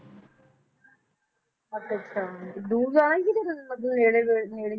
ਅੱਛਾ ਅੱਛਾ ਦੂਰ ਜਾਣਾ ਮਤਲਬ ਨੇੜੇ ਜਾ~ ਨੇੜੇ